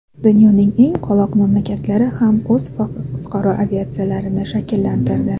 Dunyoning eng qoloq mamlakatlari ham o‘z fuqaro aviatsiyalarini shakllantirdi.